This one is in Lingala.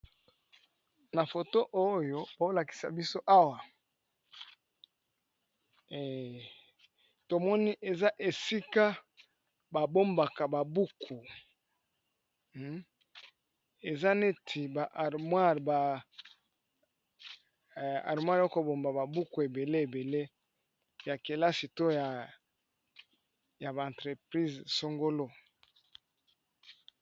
Na phone oyo bazolakisa Awa tomoni eza esika ba bombaka ba buku eza neti ba armoire ya kobomba ba buku ebele ebele ya kelasi toya ba entreprise songolo.